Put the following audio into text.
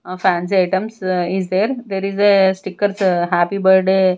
fancy items is there there is a stickers happy birthday.